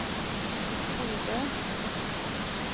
Bodø